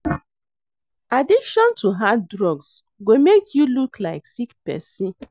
Addiction to hard drugs go make you look like sick person